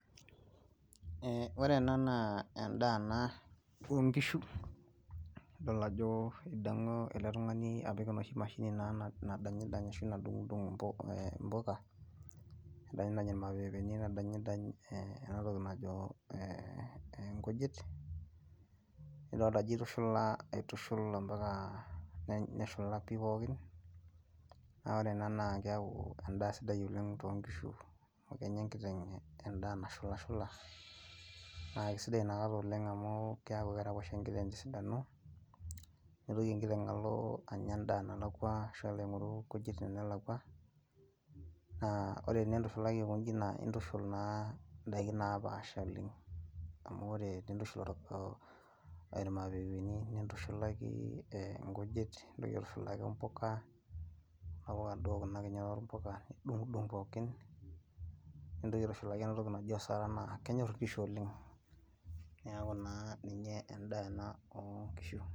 Eeh, wore ena naa endaa ena oonkishu , idol ajo idongo ele tungani apik enoshi mashini nadanyidany ashu nadungdung impuka , nedanyidany enatoki najo eeh inkujit, nidoolta ajo itushula aitushul ampaka neshula pii pookin , naa wore ena naa keaku endaa sidai oleng too inkishu amu kenyaa enkiteng endaa nashulshula , naa kisidai inakataa oleng amu keaku keraposho enkiteng tesidano , mitoki enkiteng alo anya endaa nalakwa ashu alo aingoru inkujit tenelakwa , naa wore tenitushulaki aikonji naa itushula naa indaiki naapasha oleng , amu wore pii itushul irmaapepeni nitushulaki inkujit , nintoki aitushulaki impuka , kuna puuka duo kuna kinyat oompuka nidung pookin , nintoki aitushulaki entoki naji osaraa naa kenyorr inkishu oleng , niaku naa endaa ena ooongishu.